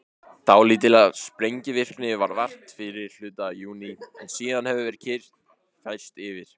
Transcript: Dálítillar sprengivirkni varð vart fyrri hluta júní en síðan hefur kyrrð færst yfir.